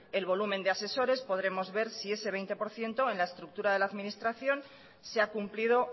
el volumen de asesores podremos ver si ese veinte por ciento en la estructura de la administración se ha cumplido